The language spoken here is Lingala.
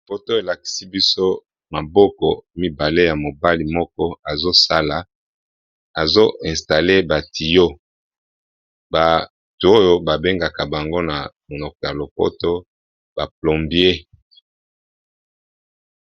Photo elakisi biso maboko mibale ya mobali moko ezosala ezoinstale batiyo batu oyo babengaka bango na monoko ya lopoto ba plombier.